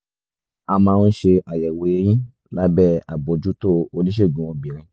a máa ń ṣe àyẹ̀wò ẹyin lábẹ́ àbójútó oníṣègùn obìnrin